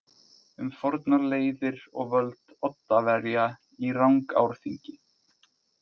Um fornar leiðir og völd Oddaverja í Rangárþingi.